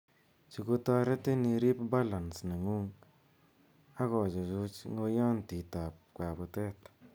Chu ko taretin irip balance �neng'ung' akochuchuch n g'oiyantiit ap kaputet.